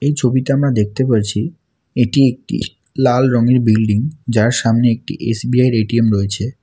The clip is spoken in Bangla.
এই ছবিতে আমরা দেখতে পারছি এটি একটি লাল রঙের বিল্ডিং যার সামনে একটি এস_বি_আই -এর এ_টি_এম রয়েছে।